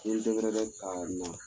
N'i y"i deburuye ka na